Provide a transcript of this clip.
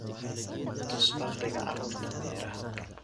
tus farqiga carruurta meeraha